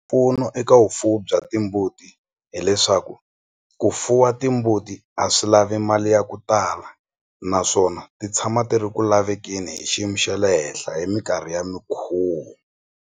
Mpfuno eka vufuwi bya timbuti hileswaku ku fuwa timbuti a swi lavi mali ya ku tala naswona ti tshama ti ri ku lavekeni hi xiyimo xa le henhla hi minkarhi ya mikhuvo.